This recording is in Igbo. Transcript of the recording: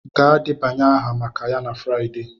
Gaa debanye aha maka ya na Friday!